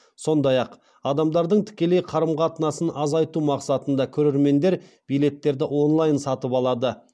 сондай ақ адамдардың тікелей қарым қатынасын азайту мақсатында көрермендер билеттерді онлайн сатып алады